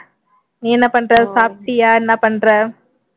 நீ என்ன பண்ற சாப்பிட்டியா என்ன பண்ற